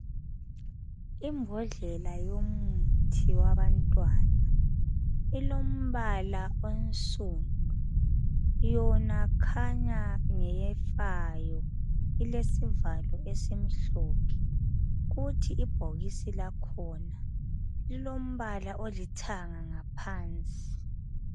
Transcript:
Imbodlela yomuthi wabantwana ilombala onsundu. Yona khanya ngefayo, isesivalo esimhlophe. Kuthi ibhokisi lakhona lilombala olithanga ngaphansi.